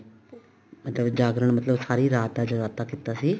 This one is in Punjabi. ਜਾਗਰਣ ਮਤਲਬ ਸਾਰੀ ਰਤ ਦਾ ਜਗਰਾਤਾ ਕੀਤਾ ਸੀ